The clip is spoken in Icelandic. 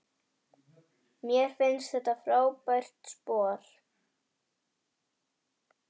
Mér finnst þetta frábært sport.